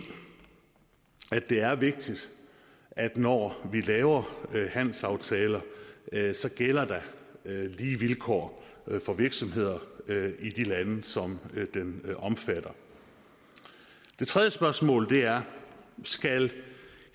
det er vigtigt at når vi laver handelsaftaler gælder der lige vilkår for virksomheder i de lande som de omfatter det tredje spørgsmål er skal